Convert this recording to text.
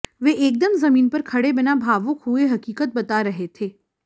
वे एकदम जमीन पर खड़े बिना भावुक हुए हकीकत बता रहे थे